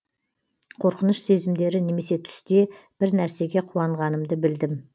қорқыныш сезімдері немесе түсте бір нәрсеге қуанғанымды білдім